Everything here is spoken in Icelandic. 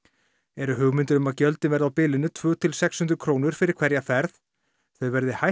eru hugmyndir um að gjöldin verði á bilinu tvö til sex hundruð krónur fyrir hverja ferð þau verði hæst